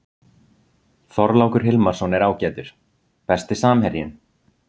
Þorlákur Hilmarsson er ágætur Besti samherjinn?